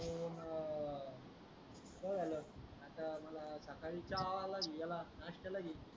बस झाला आता मला सकाळी चहाला लिही याला नाष्टाला लिही